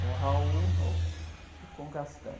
Com o e com o.